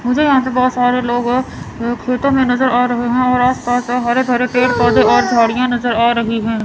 मुझे यहां से बहोत सारे लोग खेतों में नजर आ रहे हैं और आस पास हरे भरे पेड़ पौधे और झाड़ियां नजर आ रही हैं।